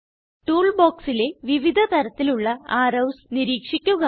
tool ബോക്സിലെ വിവിധ തരത്തിലുള്ള അറോവ്സ് നിരീക്ഷിക്കുക